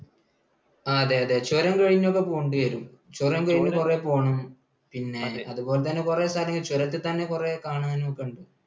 ആ അതെ. ചുരം കഴിഞ്ഞു ഒക്കെ പോകേണ്ടിവരും. ചുരം കഴിഞ്ഞ കുറേ പോകണം. അതുപോലെതന്നെ കുറേ, ചുരത്തിൽ തന്നെ കുറെ കാണാനും ഒക്കെയുണ്ട്.